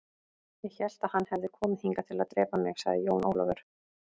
Ég hélt að hann hefði komið hingað til að drepa mig, sagði Jón Ólafur.